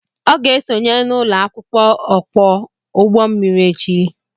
Ọ ga-esonye n'ụlọ akwụkwọ okwa ụgbọ mmiri echi